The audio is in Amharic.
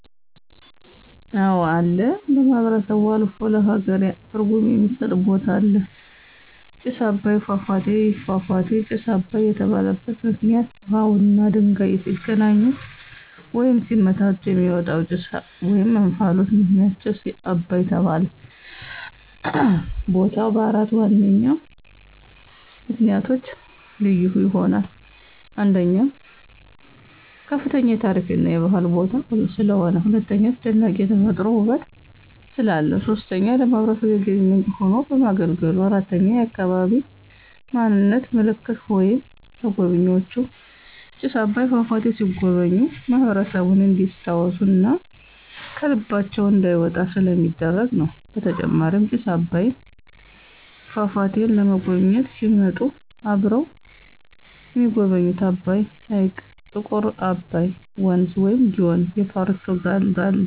አወ አለ ለማህበረሰቡ አልፎ ለሃገር ትርጉም የሚስጥ ቦታ አለ። ጭስ አባይ ፏፏቴ። ይህ ፏፏቴ ጭስ አባይ የተባለበት ምክንይት ውሃውና ድንጋዩ ሲገናኙ ወይም ሲመታቱ የሚወጣው ጭስ /እንፍሎት ምክንያት ጭስ አባይ ተባለ። ቦታው በአራት ዋነኛ ምክንያቶች ልዩ ይሆናል። 1, ከፍተኛ የታሪክ እና የባህል ቦታ ስለሆነ። 2, አስደናቂ የተፈጥሮ ውበት ስላለው። 3, ለማህበረሰቡ የገቢ ምንጭ ሆኖ በማገልገሉ። 4, የአካባቢ ማንነት ምልክት ወይም ለጎብኝዎች ጭስ አባይ ፏፏቴ ሲጎበኙ ማህበረሰቡን እንዲስታውሱ እና ከልባቸው እንዳይወጣ ስለሚደረግ ነው። በተጨማሪም ጭስ አባይን ፏፏቴን ለመጎብኝት ሲመጡ አብረው የሚጎበኙት አባይ ሕይቅ፣ ጥቁር አባይ ወንዝ(ግዮን) ፣የፖርቱጋል ድልድይ እና በኢትዮጵያ በስፍት ትልቅ የሆነውን ጣና ሀይቅን ይጎበኛሉ።